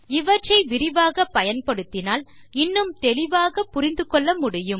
இவற்றை விரிவாகப் பயன்படுத்தினால் இன்னும் தெளிவாகப் புரிந்து கொள்ள முடியும்